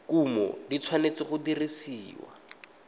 kumo di tshwanetse go dirisiwa